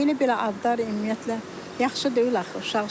Bunu belə adlar ümumiyyətlə yaxşı deyil axı uşaq üçün.